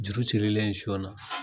Juru sirilen siyon na